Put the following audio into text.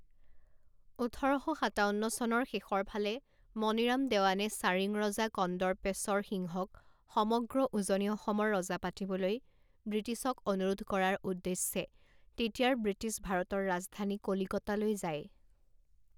ওঠৰ শ সাতাৱন্ন চনৰ শেষৰফালে মণিৰাম দেৱানে চাৰিংৰজা কন্দৰ্পেশ্বৰ সিংহক সমগ্ৰ উজনি অসমৰ ৰজা পাতিবলৈ ব্ৰিটিছক অনুৰোধ কৰাৰ ঊদ্দশ্যে তেতিয়াৰ ব্ৰিটিছ ভাৰতৰ ৰাজধানী কলিকতালৈ যায়।